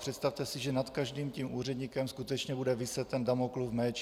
Představte si, že nad každým tím úředníkem skutečně bude viset ten Damoklův meč.